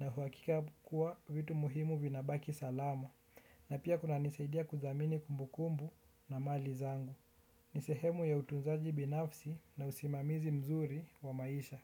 na uhakika kuwa vitu muhimu vinabaki salama. Na pia kunanisaidia kuthamini kumbukumbu na mali zangu. Ni sehemu ya utunzaji binafsi na usimamizi mzuri wa maisha.